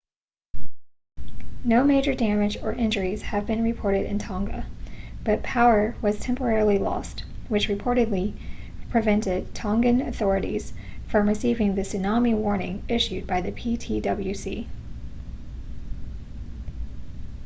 no major damage or injuries have been reported in tonga but power was temporarily lost which reportedly prevented tongan authorities from receiving the tsunami warning issued by the ptwc